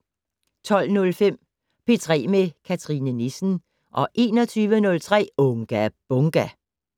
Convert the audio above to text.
12:05: P3 med Cathrine Nissen 21:03: Unga Bunga!